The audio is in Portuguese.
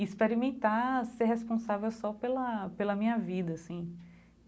experimentar ser responsável só pela pela minha vida, assim.